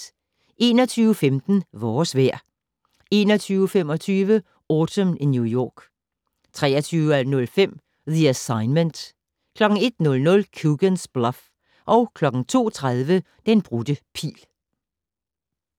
21:15: Vores vejr 21:25: Autumn in New York 23:05: The Assignment 01:00: Coogan's Bluff 02:30: Den brudte pil